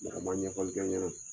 Mɛ a ma ɲɛfɔli kɛ ɲɛna.